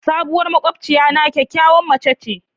Sabuwar makwabciyana kyakkyawar mace ce.